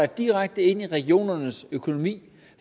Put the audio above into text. direkte ind i regionernes økonomi